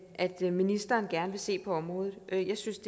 at ministeren gerne vil se på området jeg synes